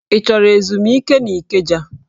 Ị chọrọ ezumike n'Ikeja?